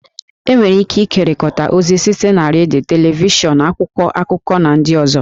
E nwere ike ịkekọrịta ozi site na redio, televishọn, akwụkwọ akụkọ, na ndị ọzọ